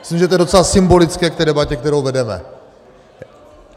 Myslím, že je to docela symbolické k té debatě, kterou vedeme.